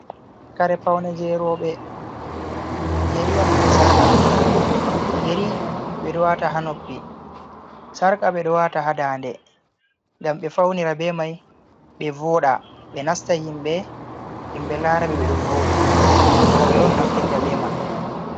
Kare paune je roɓe, yeri on be sarqa, yeri beɗo wata ha noppi, sarqa ɓe ɗo wata ha daa nde, ngam ɓe faunira be mai ɓe voɗa ɓe nasta himɓe, himɓe laraɓe ɓeɗo voɗi roɓe on naftirta be man.